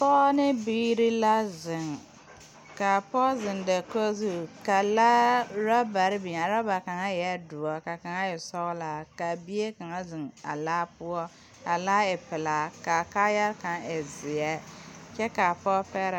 Pɔge ne biiri la zeŋ, kaa pɔge zeŋ dakogi zu kaa laare ane ɔrebare biŋ a ɔreba kaŋa eɛ doɔre ka kaŋa. e sɔglaa ka bie kaŋa zeŋ a laa poɔ, kaa laa e pelaa kaa kaayɛ kaŋa e zeɛ kyɛ kaa pɔge pegeree boma.